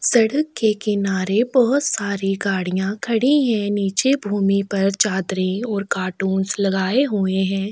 सड़क के किनारे बहुत सारी गाड़ियाँ खड़ी है नीचे भूमि पर चादरे और कार्टून्स लगाये हुए है ।